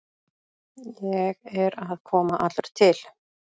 Ég er að koma allur til.